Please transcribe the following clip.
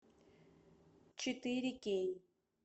четыре кей